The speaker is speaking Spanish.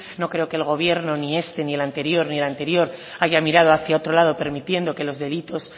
no creo que el gobierno ni este ni el anterior ni el anterior haya mirado hacia otro lado permitiendo que los delitos